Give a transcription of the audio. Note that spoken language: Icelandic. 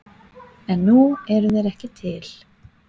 En nú eru þeir ekki til.